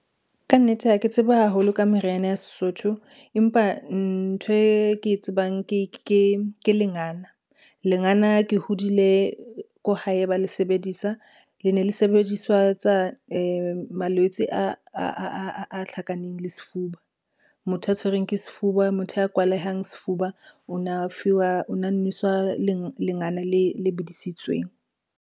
Ka nnete, ha ke tsebe haholo ka meriana ya Sesotho, empa ntho e ke e tsebang ke lengana. Lengana ke hodile ko hae ba le sebedisa, le ne le sebedisetswa malwetse a hlakaneng le sefuba. Motho a tshwerweng ke sefuba, motho ya kwalehang sefuba o na fiwa, o na neswa lengana le bidisitsweng.